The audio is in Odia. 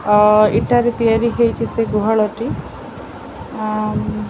ଅ ଇଟା ରେ ତିଆରି ହେଇଛି ସେ ଗୁହାଳଟି ଆଁ ମ- -